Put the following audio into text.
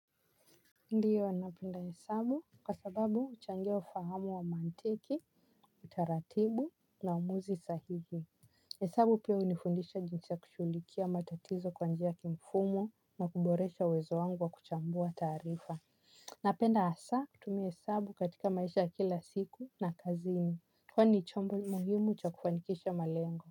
Ndiyo napenda hesabu kwa sababu huchangia ufahamu wa mantiki, utaratibu na uamuzi sahihi. Hesabu pia hunifundisha jinsi ya kushughulikia matatizo kwa njia ya kimfumo na kuboresha uwezo wangu wa kuchambua taarifa. Napenda hasa kutumia hesabu katika maisha ya kila siku na kazini kwani ni chombo muhimu cha kufanikisha malengo.